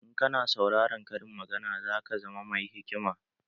In kana saurarar karin magana za ka zama mai hikima